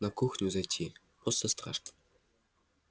на кухню зайти просто страшно